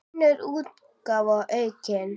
Önnur útgáfa, aukin.